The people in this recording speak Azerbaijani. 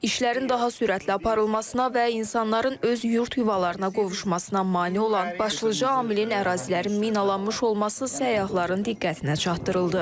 İşlərin daha sürətli aparılmasına və insanların öz yurd yuvalarına qovuşmasına mane olan başlıca amilin ərazilərin minalanmış olması səyyahların diqqətinə çatdırıldı.